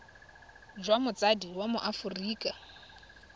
jwa motsadi wa mo aforika